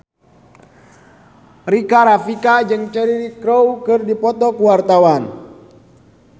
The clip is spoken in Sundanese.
Rika Rafika jeung Cheryl Crow keur dipoto ku wartawan